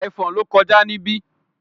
Ẹ̀fọn ló kọjá níbí